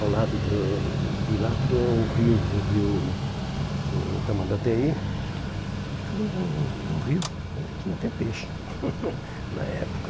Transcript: Ao lado do do de lá tinha o rio o rio o Tamandatei, que também era um rio onde tinha até peixe na época.